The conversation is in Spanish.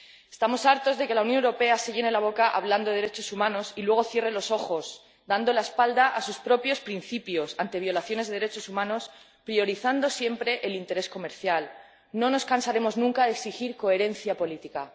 Estamos hartos de que la Unión Europea se llene la boca hablando de derechos humanos y luego cierre los ojos, dando la espalda a sus propios principios, ante violaciones de derechos humanos, priorizando siempre el interés comercial. No nos cansaremos nunca exigir coherencia política.